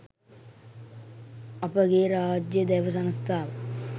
අපගේ රාජ්‍ය දැව සංස්ථාව